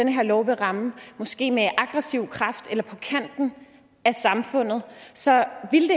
den her lov vil ramme måske med aggressiv kraft eller på kanten af samfundet så